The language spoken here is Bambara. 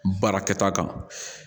Baarakɛta kan